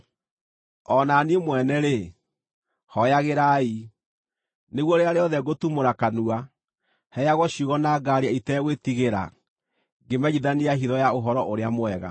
O na niĩ mwene-rĩ, hooyagĩrai, nĩguo rĩrĩa rĩothe ngũtumũra kanua, heagwo ciugo na ngaaria itegwĩtigĩra ngĩmenyithania hitho ya Ũhoro-ũrĩa-Mwega,